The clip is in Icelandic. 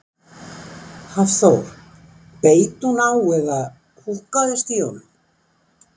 Hafþór: Beit hún á eða húkkaðist í honum?